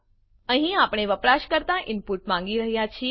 અહીં આપણે વપરાશકર્તા ઈનપુટ માંગી રહ્યા છીએ